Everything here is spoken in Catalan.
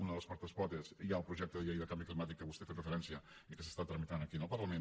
una de les quatre potes hi ha el projecte de llei de canvi climàtic que vostè hi ha fet referència i que s’està tramitant aquí al parlament